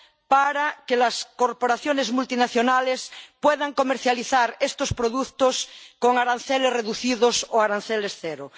para que las corporaciones multinacionales puedan comercializar estos productos con aranceles reducidos o aranceles cero.